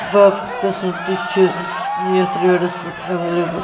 باقےٕ قٔسٕم تہِ چٕھ یتھ ریڈس پٮ۪ٹھ اویلیبل